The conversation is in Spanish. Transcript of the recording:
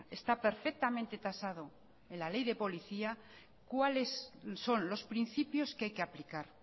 está perfectamente tasado en la ley de policía cuáles son los principios que hay que aplicar